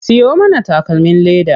Siyo mana takalmin leda.